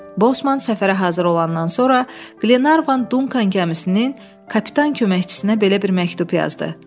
Bosman səfərə hazır olandan sonra Glenarvan Dunkan gəmisinin kapitan köməkçisinə belə bir məktub yazdı.